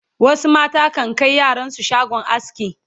wasu mata kan Kai yaran su shagon aski